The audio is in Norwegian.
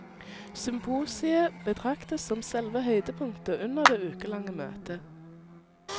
Symposiet betraktes som selve høydepunktet under det ukelange møtet.